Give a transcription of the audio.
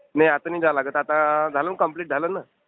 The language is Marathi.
नाही, आता नाही जायला लागत. आता झालं ना कम्प्लिट झालं ना.